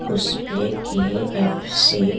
उस पे के एफ सी --